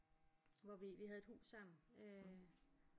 Hvor vi vi havde et hus sammen